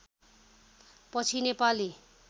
पछि नेपाली